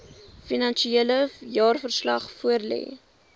finansiële jaarverslag voorlê